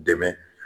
Dɛmɛ